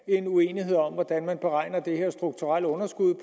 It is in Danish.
er en uenighed om hvordan man beregner det strukturelle underskud